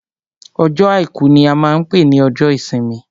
Ọjọ́ àìkú ní a máa n pé ní ọjọ́ ìsinmi.